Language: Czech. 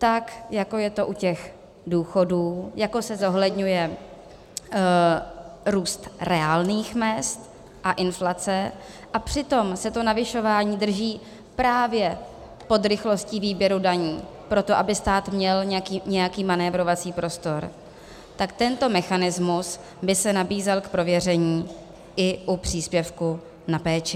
Tak, jako je to u těch důchodů, jako se zohledňuje růst reálných mezd a inflace a přitom se to navyšování drží právě pod rychlostí výběru daní proto, aby stát měl nějaký manévrovací prostor, tak tento mechanismus by se nabízel k prověření i u příspěvku na péči.